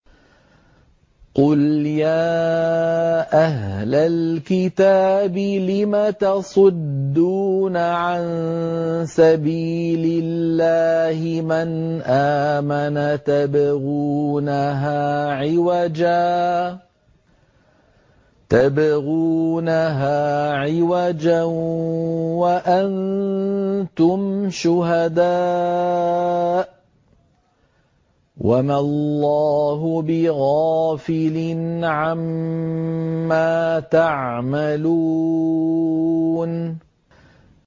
قُلْ يَا أَهْلَ الْكِتَابِ لِمَ تَصُدُّونَ عَن سَبِيلِ اللَّهِ مَنْ آمَنَ تَبْغُونَهَا عِوَجًا وَأَنتُمْ شُهَدَاءُ ۗ وَمَا اللَّهُ بِغَافِلٍ عَمَّا تَعْمَلُونَ